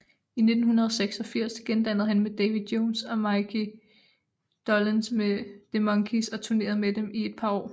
I 1986 gendannede han med Davy Jones og Micky Dolenz the Monkees og turnerede med dem i et par år